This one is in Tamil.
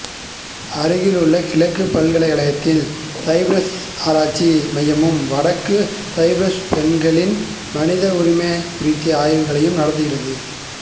அருகிலுள்ள கிழக்கு பல்கலைக்கழகத்தின் சைப்ரசு ஆராய்ச்சி மையமும் வடக்கு சைப்ரசில் பெண்களின் மனித உரிமைகள் குறித்த ஆய்வுகளை நடத்துகிறது